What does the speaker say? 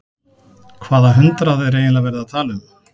Hvaða hundrað er eiginlega verið að tala um?